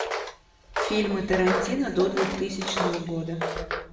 фильмы тарантино до двухтысячного года